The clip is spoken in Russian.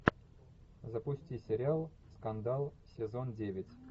запусти сериал скандал сезон девять